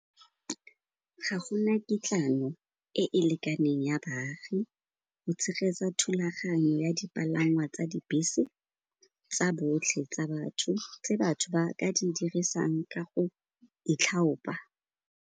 Ga gona kitlano e e lekaneng ya baagi go tshegetsa thulaganyo ya dipalangwa tsa dibese tsa botlhe tsa batho, tse batho ba ka di dirisang ka go .